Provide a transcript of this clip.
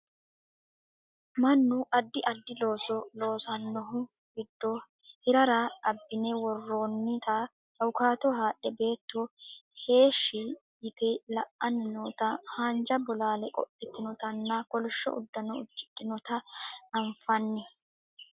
manu addi addi looso loosannohu giddo hirrara abbine worroonnita awukaato haadhe beetto heeshshi yite la'anni noota haanja bolaale qodhitinotanna kolishsho uddano uddihinota anfanni